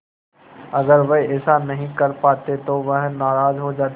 अगर वह ऐसा नहीं कर पाते तो वह नाराज़ हो जाते